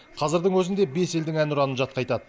қазірдің өзінде бес елдің әнұранын жатқа айтады